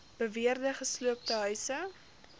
beweerde gesloopte huise